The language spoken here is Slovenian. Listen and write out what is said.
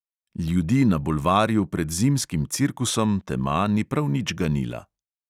Ljudi na bulvarju pred zimskim cirkusom tema ni prav nič ganila.